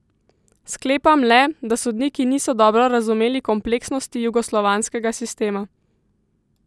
Sklepam le, da sodniki niso dobro razumeli kompleksnosti jugoslovanskega sistema.